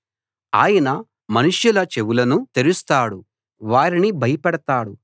ఆయన మనుషుల చెవులను తెరుస్తాడు వారిని భయపెడతాడు